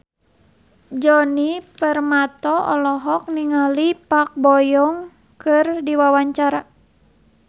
Djoni Permato olohok ningali Park Bo Yung keur diwawancara